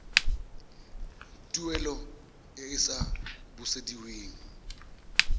tuelo e e sa busediweng